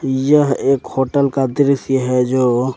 यह एक होटल का दृश्य है जो--